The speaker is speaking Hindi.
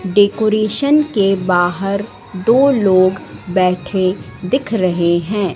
डेकोरेशन के बाहर दो लोग बैठे दिख रहे हैं।